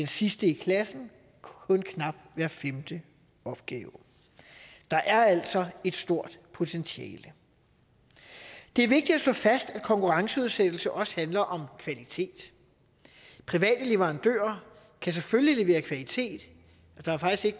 sidste i klassen kun knap hver femte opgave der er altså et stort potentiale det er vigtigt at slå fast at konkurrenceudsættelse også handler om kvalitet private leverandører kan selvfølgelig levere kvalitet der er faktisk